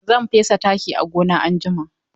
Zan fesa taki a gona anjima.